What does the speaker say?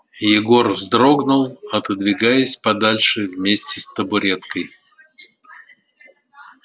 егор вздрогнул отодвигаясь подальше вместе с табуреткой